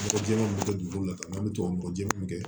Mɔgɔ jɛman min bɛ kɛ dugukolo la an bɛ tubabu nɔgɔ jɛ min kɛ